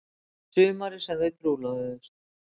Sumarið sem þau trúlofuðust.